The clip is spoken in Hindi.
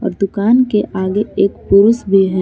दुकान के आगे एक पुरुष भी है।